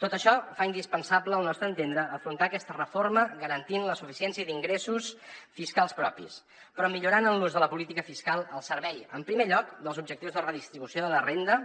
tot això fa indispensable al nostre entendre afrontar aquesta reforma garantint la suficiència d’ingressos fiscals propis però millorant en l’ús de la política fiscal al servei en primer lloc dels objectius de redistribució de la renda